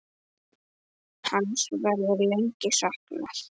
Hans verður lengi saknað.